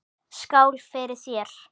Skál fyrir þér.